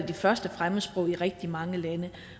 det første fremmedsprog i rigtig rigtig mange lande